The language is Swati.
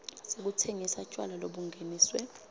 sekutsengisa tjwala lobungeniswe